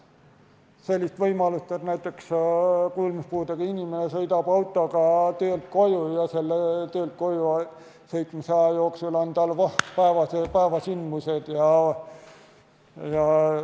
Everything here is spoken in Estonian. Sellist võimalust, et näiteks kuulmispuudega inimene sõidab autoga töölt koju ja selle aja jooksul on tal voh!